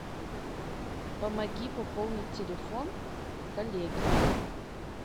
помоги пополнить телефон коллеги